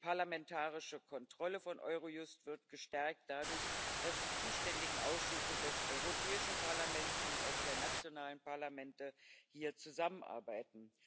Die parlamentarische Kontrolle von Eurojust wird dadurch gestärkt, dass die zuständigen Ausschüsse des Europäischen Parlaments und auch der nationalen Parlamente hier zusammenarbeiten.